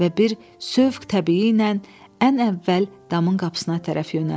Və bir sövq təbii ilə ən əvvəl damın qapısına tərəf yönəldi.